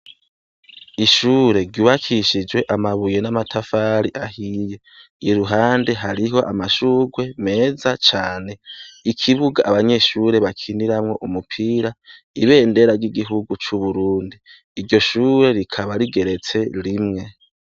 Ishure ryubakishijwe amabuye n'amatafari ahiye, iruhande hariho amashurwe meza cane, ikibuga abanyeshure bakiniramwo umupira, ibendera ry'igihugu c'Uburundi ,iryo shure rikaba rigeretse rimwe.